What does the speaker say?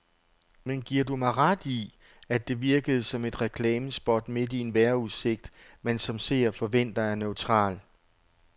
Men giver du mig ret i, at det virkede som et reklamespot midt i en vejrudsigt, man som seer forventer er neutral.